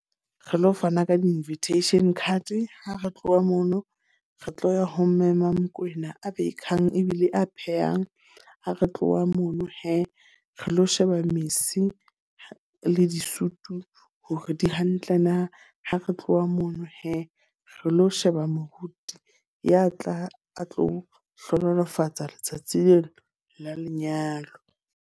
Re lo fana ka di-invitation card. Ha re tloha mono, re tlo ya ho mme maMokwena a baker-ng ebile a phehang. A re tloha mono he, re lo sheba mese le di-suit hore di hantle na. Ha re tloha mono he, re lo sheba moruti ya tla a tlo hlohonolofatsa letsatsi leo la lenyalo.